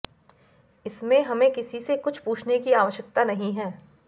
इसमें हमें किसी से कुछ पूछने की आवश्यकता नहीं है